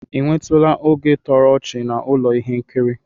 Ị nwetụla oge toro ọchị na ụlọ ihe nkiri?